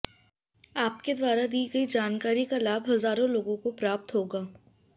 आपके द्वारा दी गई जानकारी का लाभ हजारों लोगों को प्राप्त होगा